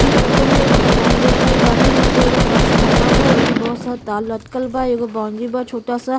इ फोटो में एगो मैदान देखल बानी हम जो एगो ट्राँफार्मर बा ऐमे बहुत सारा तार लटकल बा एगो बॉउंड्री बा छोटा सा --